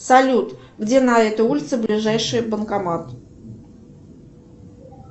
салют где на этой улице ближайший банкомат